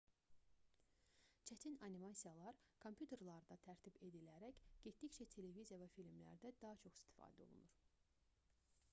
çətin animasiyalar kompüterlərdə tərtib edilərək getdikcə televiziya və filmlərdə daha çox istifadə olunur